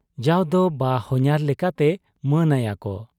ᱡᱟᱣᱫᱚ ᱵᱟᱦᱚᱧᱦᱟᱨ ᱞᱮᱠᱟᱛᱮ ᱢᱟᱹᱱ ᱟᱭᱟᱠᱚ ᱾